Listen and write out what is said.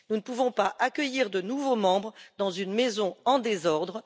Nous ne pouvons pas accueillir de nouveaux membres dans une maison en désordre